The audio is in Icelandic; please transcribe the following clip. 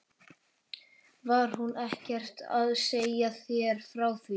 Var hún ekkert að segja þér frá því?